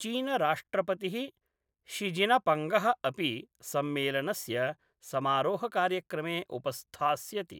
चीनराष्ट्रपति: शिजिनपङ्गः अपि सम्मेलनस्य समारोहकार्यक्रमे उपस्थास्यति।